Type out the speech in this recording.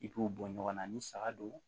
I k'u bɔ ɲɔgɔn na ni saga don